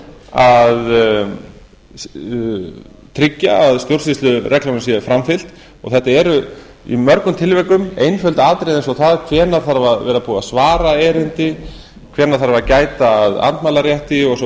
að tryggja að stjórnsýslureglunum sé framfylgt og þetta eru í mörgum tilvikum einföld atriði eins og það hvenær þarf að vera búið að svara erindi hvenær þarf að gæta að andmælarétti og svo